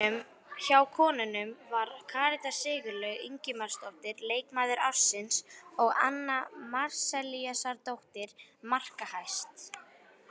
Hjá konunum var Karítas Sigurlaug Ingimarsdóttir leikmaður ársins og Anna Marzellíusardóttir markahæst.